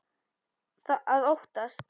Að óttast!